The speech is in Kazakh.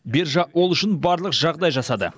биржа ол үшін барлық жағдай жасады